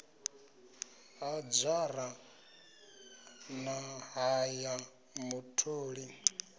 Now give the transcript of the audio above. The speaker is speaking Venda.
ha dzhara ṱa ya mutholi